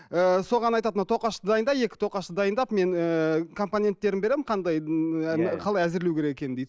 ы соған айтады мына тоқашты дайында екі тоқашты дайындап мен ііі компоненттерін беремін қандай қалай әзірлеу керек екенін дейді